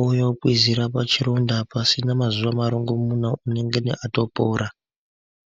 ouya okwizira pachironda, pasina mazuva marongomuna unengeni atopora.